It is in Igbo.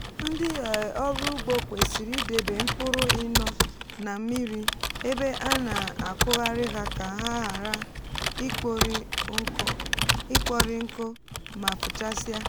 ndị um ọrụ ugbo kwesịrị idebe mkpụrụ ịnọ na mmiri mgbe a na-akụghari ha ka ha ghara ikpọri nkụ mà fuchásia.